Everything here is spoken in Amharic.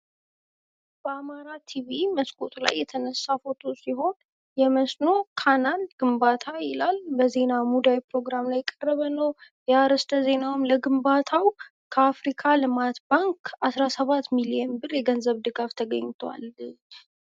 በአማራ ቲቪ መስኮቱ ላይ የተነሳ ፎቶ ሲሆን የመስኖን ካናል ግንባታ ይላል። በዜና ሙዳይ ፕሮግራም ላይ የቀረበ ነው። የአርስተ-ዜናውም ለግንባታው ከአፍሪካ ልማት ባንክ 17 ሚሊዮን ብር የገንዘብ ድጋፍ ተገኝቷል ይላል።